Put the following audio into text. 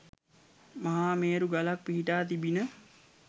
මහා මේරු ගලක් පිහිටා තිබිණ.